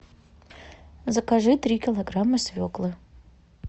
закажи три килограмма свеклы